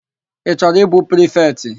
Ị chọrọ ịbụ prifetị?